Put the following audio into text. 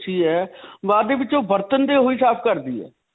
ਪੁੱਛੀ ਹੈ. ਬਾਅਦ ਦੇ ਵਿਚੋਂ ਬਰਤਨ ਤੇ ਓਹੀ ਸਾਫ਼ ਕਰਦੀ ਹੈ.